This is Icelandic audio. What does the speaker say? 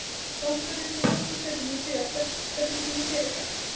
varpinu því nokkrum sekúndum síðar stendur hún í dyragætt